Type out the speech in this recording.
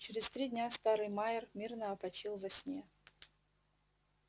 через три дня старый майер мирно опочил во сне